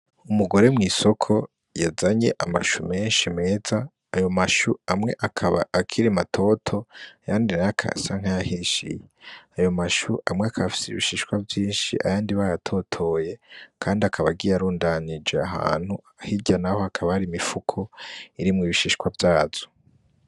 Umugore mw’isoko yazanye amashu menshi meza , ayo mashu amwe akaba akiri matoto ayandi nayo akaba asa nk’ayahishiye. Ayo mashu amwe akaba afise ibishishwa vyinshi ayandi bayatotoye ,akaba agiye arundanije ahantu hirya naho hakaba hari imifuko irimwo ibishishwa vyazo.